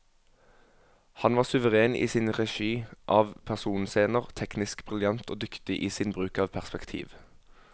Han var suveren i sin regi av personscener, teknisk briljant og dyktig i sin bruk av perspektiv.